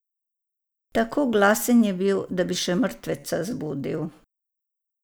Tako glasen je bil, da bi še mrtveca zbudil.